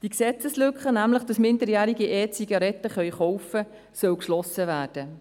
Die Gesetzeslücke, dass Minderjährige E-Zigaretten kaufen können, soll geschlossen werden.